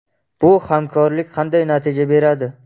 Bu hamkorlik qanday natija beradi?